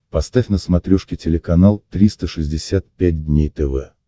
поставь на смотрешке телеканал триста шестьдесят пять дней тв